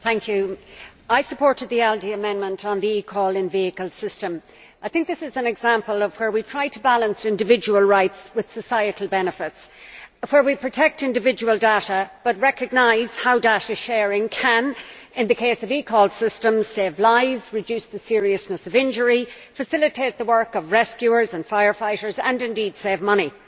Mr President, I supported the ALDE amendment on the eCall in vehicle system. I think this is an example of where we try to balance individual rights with societal benefits, where we protect individual data but recognise how data sharing can, in the case of the eCall system, save lives, reduce the seriousness of injury, facilitate the work of rescuers and fire fighters, and indeed save money.